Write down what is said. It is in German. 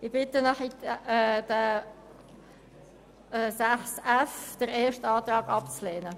Ich bitte Sie, die erste Massnahme zum Themenblock 6.f abzulehnen.